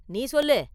நீ சொல்லு!